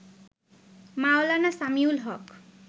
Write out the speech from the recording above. মাওলানা Samiul হক